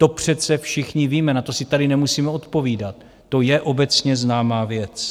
To přece všichni víme, na to si tady nemusíme odpovídat, to je obecně známá věc.